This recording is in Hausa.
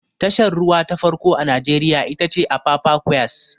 Tashar ruwa ta farko a najeriya ita ce apapa quays